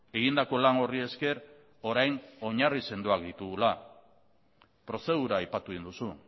egindako lan horri esker orain oinarri sendoak ditugula prozedura aipatu egin duzu